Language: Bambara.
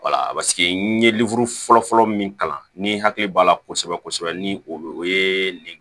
n ye fɔlɔfɔlɔ min kalan ni hakili b'a la kosɛbɛ kosɛbɛ ni o ye